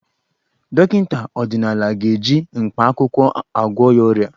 Dọkịta ọdịnala ga-eji mkpaakwụkwọ agwọ ya ọrịa.